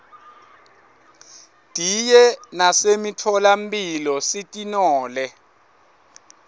diye nasemitfola mphilo sitinole